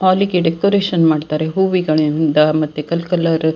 ಹಾಲಿಗೆ ಡೆಕೋರೇಷನ್ ಮಾಡ್ತಾರೆ. ಹೂವಿಗಳಿಂದ ಮತ್ತೆ ಕಲ್ಕಲರ್ --